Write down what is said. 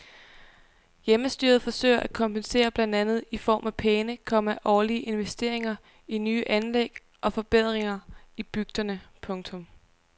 Hjemmestyret forsøger at kompensere blandt andet i form af pæne, komma årlige investeringer i nye anlæg og forbedringer i bygderne. punktum